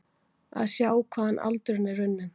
Að sjá hvaðan aldan er runnin